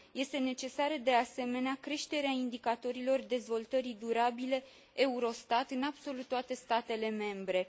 Este necesară, de asemenea, creșterea indicatorilor dezvoltării durabile Eurostat în absolut toate statele membre.